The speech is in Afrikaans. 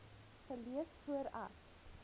gelees voor ek